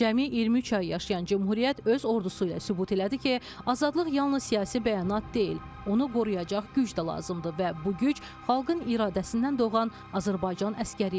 Cəmi 23 ay yaşayan Cümhuriyyət öz ordusu ilə sübut elədi ki, azadlıq yalnız siyasi bəyanat deyil, onu qoruyacaq güc də lazımdır və bu güc xalqın iradəsindən doğan Azərbaycan əsgəri idi.